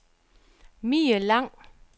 Mie Lang